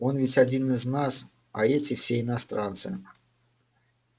он ведь один из нас а эти все иностранцы